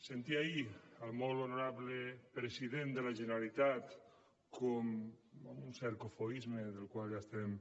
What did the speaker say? sentia ahir al molt honorable president de la generalitat com amb un cert cofoisme al qual ja estem